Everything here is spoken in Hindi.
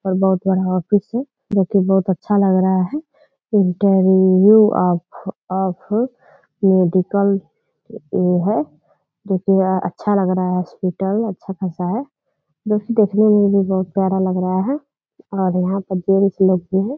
और बहुत बड़ा ऑफिस है जो कि बहुत अच्छा लग रहा है इंटरव्यू ऑफ़ ऑफ़ मेडिकल ये है जो कि अच्छा लग रहा है हॉस्पिटल अच्छा खासा है जो कि देखने में भी बहुत प्यारा लग रहा है और यहाँ पर जेंट्स लोग भी हैं ।